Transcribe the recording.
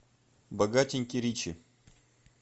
богатенький ричи